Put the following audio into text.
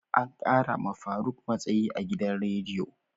Ankara ma faruk matsayi a gidan rediyo.